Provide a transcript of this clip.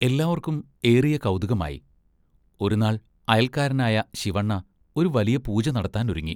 എല്ലാവർക്കും ഏറിയ കൗതുകമായി. ഒരുനാൾ അയൽക്കാരനായ ശിവണ്ണ ഒരു വലിയ പൂജ നടത്താൻ ഒരുങ്ങി.